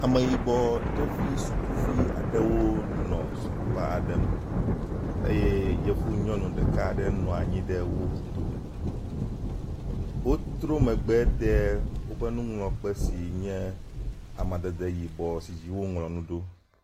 Ame yibɔ ɖevi sukuvi aɖewo nɔ sukuxɔ aɖe me eye yevu nyɔnu ɖeka aɖe nɔ anyi ɖe wo dome. Wotrɔ megbe de woƒe nuŋlɔkpe si nye amadede yibɔ si dzi woŋlɔ nu ɖo.